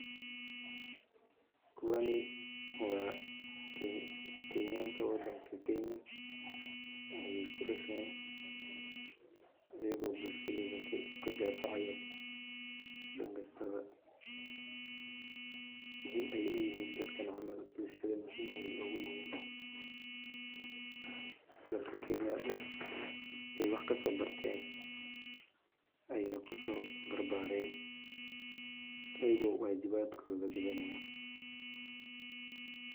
Kuwani waa kenyan wadanka kenya ayeey ku dasheen ayaga oo bulshada kadifacaya dan walbo muhiim ayeey uyihiin dalka ayeey wax kusoo barteen ayaga oo wajibkooda gudanaaya.